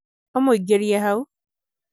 ũmũingĩrie hau